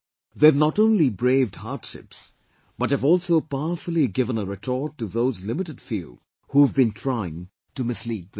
They have not only braved hardships, but have also powerfully given a retort to those limited few who have been trying to mislead them